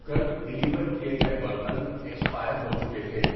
کل ڈلیور کیے گئے برتن ایکسپائر ہو چکے تھے۔